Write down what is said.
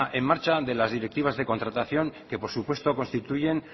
en marcha de las directivas de contratación que por supuesto constituyen